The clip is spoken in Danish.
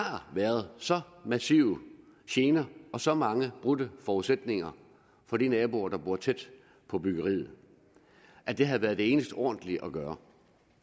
været så massive gener og så mange brudte forudsætninger for de naboer der bor tæt på byggeriet at det havde været det eneste ordentlige at gøre